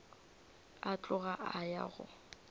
a tloga a ya go